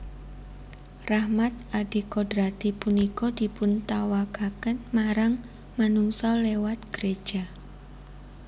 Rahmat adikodrati punika dipuntawakaken marang manungsa liwat gréja